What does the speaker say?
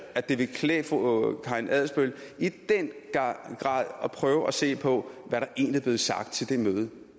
at det ville klæde fru karina adsbøl i den grad at prøve at se på hvad der egentlig er blevet sagt til det møde